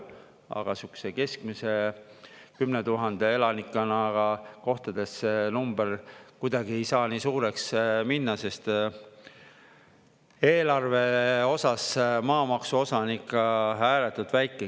Aga sihukese keskmise, 10 000 elanikuga kohtades see number kuidagi ei saa nii suureks minna, sest eelarve osas maamaksu osa on ikka ääretult väike.